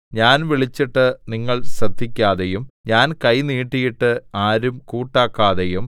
ഞാൻ വിളിച്ചിട്ട് നിങ്ങൾ ശ്രദ്ധിക്കാതെയും ഞാൻ കൈ നീട്ടിയിട്ട് ആരും കൂട്ടാക്കാതെയും